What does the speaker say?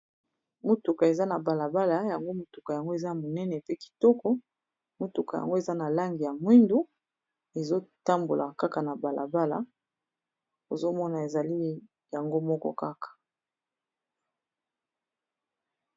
Motuka eza na balabala yango motuka yango eza monene pe kitoko motuka yango eza na lange ya mwindu ezo tambola kaka na balabala ozo mona ezali yango moko kaka.